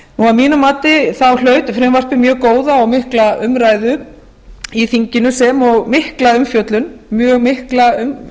að mínu mati hlaut frumvarpið mjög góða og mikla umræðu í þinginu sem og mikla umfjöllun mjög mikla og